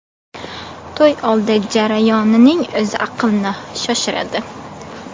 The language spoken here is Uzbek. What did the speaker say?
To‘y oldi jarayonining o‘zi aqlni shoshiradi.